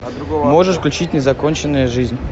можешь включить незаконченная жизнь